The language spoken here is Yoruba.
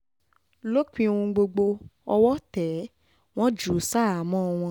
lópin ohun gbogbo owó tẹ̀ ẹ́ wọ́n jù ú ṣaháàmọ̀ wọn